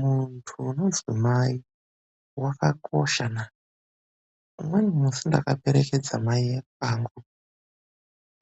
Muntu womudzimai wakakosha naa. Umweni musi ndakaperekedza mai ekwangu